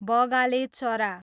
बगाले चरा